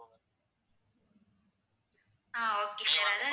ah okay sir